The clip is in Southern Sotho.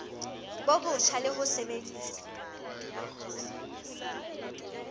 bo botjha le ho sebedisa